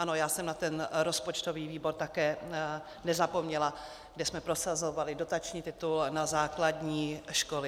Ano, já jsem na ten rozpočtový výbor také nezapomněla, kde jsme prosazovali dotační titul na základní školy.